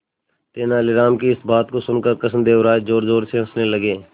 तेनालीराम की इस बात को सुनकर कृष्णदेव राय जोरजोर से हंसने लगे